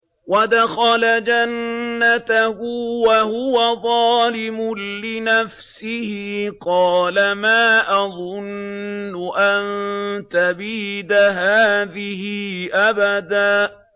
وَدَخَلَ جَنَّتَهُ وَهُوَ ظَالِمٌ لِّنَفْسِهِ قَالَ مَا أَظُنُّ أَن تَبِيدَ هَٰذِهِ أَبَدًا